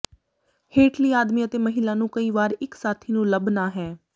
ਹੇਠਲੀ ਆਦਮੀ ਅਤੇ ਮਹਿਲਾ ਨੂੰ ਕਈ ਵਾਰ ਇੱਕ ਸਾਥੀ ਨੂੰ ਲੱਭ ਨਾ ਹੈ